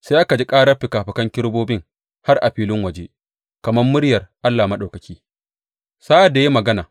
Sai aka ji ƙarar fikafikan kerubobin har a filin waje, kamar muryar Allah Maɗaukaki sa’ad da ya yi magana.